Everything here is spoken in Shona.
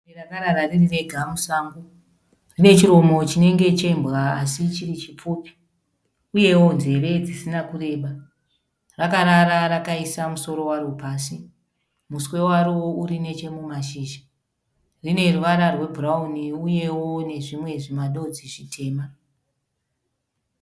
Bere rakarara riri rega musango. Rine chiromo chinenge chembwa asi chiri chipfupi, uyewo nzeve dzisina kureba. Rakarara rakaisa musoro waro pasi, muswe waro uri neche mumashizha. Rine ruvara rwebhurauni uyewo nezvimwe zvimadodzi zvitema.